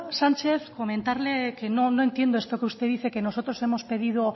sánchez comentarlo que no entiendo esto que usted dice que nosotros hemos pedido